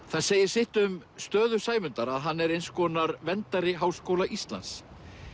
það segir sitt um stöðu Sæmundar að hann er eins konar verndari Háskóla Íslands